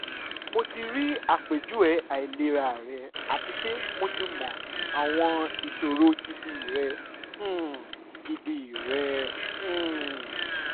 mo ti ri apejuwe ailera rẹ ati pe mo ti mọ awọn iṣoro gidi rẹ um gidi rẹ um